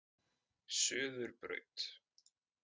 Suðurbraut